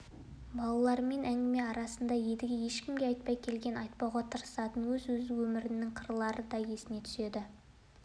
балалармен әңгіме арасында едіге ешкімге айтпай келген айтпауға тырысатын өз өмірінің қырлары да есіне түседі